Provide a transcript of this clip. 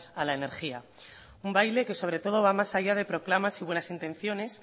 a la energía un baile que sobre todo va más allá de proclamas y buenas intenciones